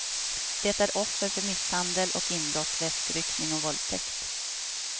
Det är offer för misshandel och inbrott, väskryckning och våldtäkt.